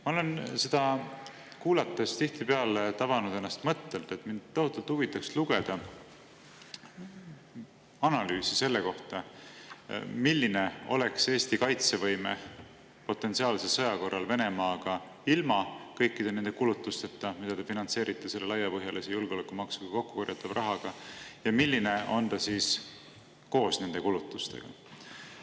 Ma olen seda kuulates tihtipeale tabanud ennast mõttelt, et mind tohutult huvitaks lugeda analüüsi selle kohta, milline oleks Eesti kaitsevõime potentsiaalse sõja korral Venemaaga ilma kõikide nende kulutusteta, mida te finantseerite selle laiapõhjalise julgeolekumaksuga kokku korjatava rahaga, ja milline on ta siis koos nende kulutustega.